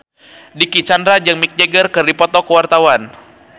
Dicky Chandra jeung Mick Jagger keur dipoto ku wartawan